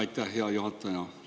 Aitäh, hea juhataja!